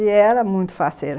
E era muito faceira.